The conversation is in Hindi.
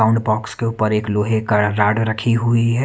साउंड बॉक्स के ऊपर एक लोहे का राड रखी हुई--